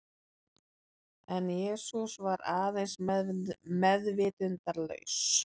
En Jesús var aðeins meðvitundarlaus.